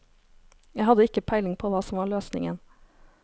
Jeg hadde ikke peiling på hva som var løsningen.